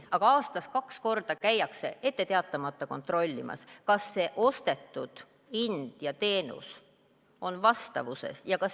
Aga aastas kaks korda käiakse ette teatamata kontrollimas, kas see hind ja teenus on vastavuses.